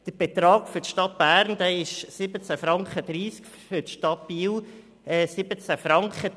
Der Betrag für die Stadt Bern beläuft sich auf 17.30 Franken, derjenige für die Stadt Biel auf 17 Franken.